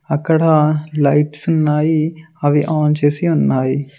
అక్కడ లైట్స్ ఉన్నాయి అవి ఆన్ చేసి ఉన్నాయి.